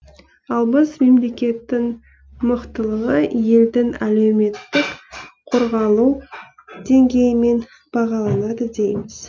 ал біз мемлекеттің мықтылығы елдің әлеуметтік қорғалу деңгейімен бағаланады дейміз